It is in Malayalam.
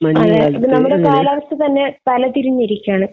നമ്മുടെ കാലാവസ്ഥ തന്നെ തലതിരിഞ്ഞിരിക്കുകയാണ്.